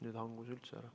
Nüüd hangus üldse ära.